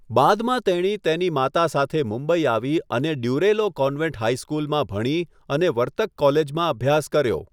બાદમાં તેણી તેની માતા સાથે મુંબઈ આવી અને ડ્યુરેલો કોન્વેન્ટ હાઈસ્કૂલમાં ભણી અને વર્તક કોલેજમાં અભ્યાસ કર્યો.